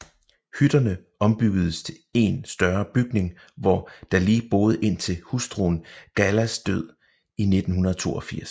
Hytterne ombyggedes til én større bygning hvor Dali boede indtil hustruen Galas død i 1982